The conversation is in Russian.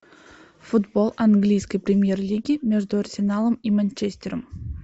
футбол английской премьер лиги между арсеналом и манчестером